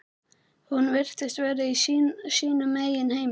Hún virtist vera í sínum eigin heimi.